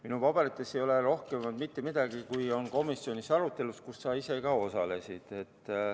Minu paberites ei ole rohkem, kui oli komisjonis arutelus, kus sa ise osalesid.